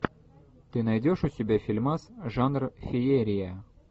ты найдешь у себя фильмас жанр феерия